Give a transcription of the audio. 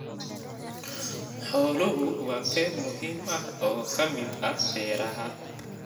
Xooluhu waa qayb muhiim ah oo ka mid ah beeraha.